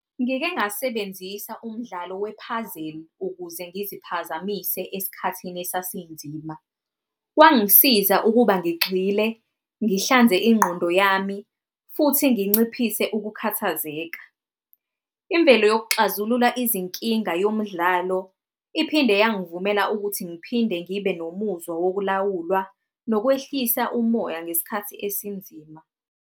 Ngike ngasebenzisa umdlalo we-puzzle, ukuze ngiziphazamise esikhathini esasinzima. Kwangisiza ukuba ngigxile, ngihlanze ingqondo yami futhi nginciphise ukukhathazeka. Imvelo yokuxazulula izinkinga yomdlalo, iphinde yangivumela ukuthi ngiphinde ngibe nomuzwa wokulawulwa nokwehlisa umoya ngesikhathi esinzima.